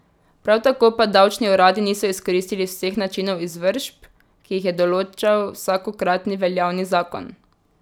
Prav tako pa davčni uradi niso izkoristili vseh načinov izvršb, ki jih je določal vsakokratni veljavni zakon.